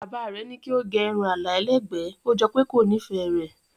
Bàbá rẹ̀ ní kí ó gẹ irun àlà ẹlẹ́gbẹ̀ẹ́, ó jọ pé kò nífẹ̀ẹ́ rẹ̀.